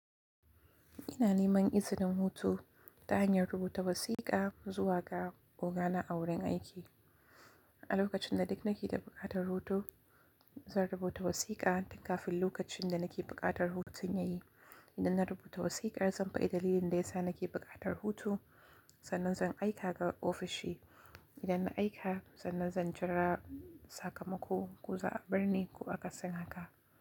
Ina neman izinin hutu ta hanyar rubuta wasiƙa zuwa ga ogana a wurin aiki. A lokacin da duk nake da buƙatar hutu, zan rubuta wasiƙa. Tun kafin lokacin da na ke buƙatar hutun ya yi, idan na rubuta wasiƙar zan faɗi dalilin da ya sa na ke buƙatar hutu. Sannan zan aika ga ofishi. Idan na aika, sannan zan jira sakamako ko za a bar ni ko aka sin haka.